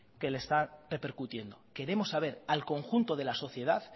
que les está repercutiendo queremos saber al conjunto de la sociedad